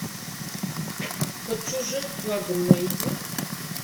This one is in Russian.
под чужим флагом найди